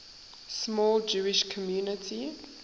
small jewish community